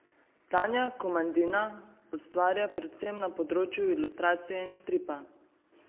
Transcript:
Tanja Komadina ustvarja predvsem na področju ilustracije in stripa.